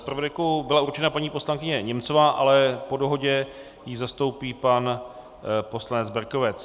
Zpravodajkou byla určena paní poslankyně Němcová, ale po dohodě ji zastoupí pan poslanec Berkovec.